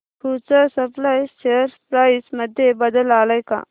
future supply share price मध्ये बदल आलाय का